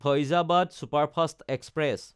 Faizabad superfast express